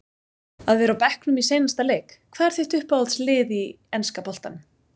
að vera á bekknum í seinasta leik Hvað er þitt uppáhalds lið í enska boltanum?